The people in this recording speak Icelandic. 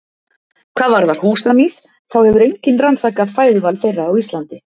Hvað varðar húsamýs þá hefur enginn rannsakað fæðuval þeirra á Íslandi.